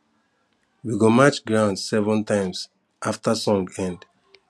we go match ground seven times after song end